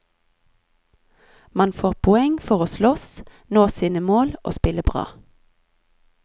Man får poeng for å slåss, nå sine mål og spille bra.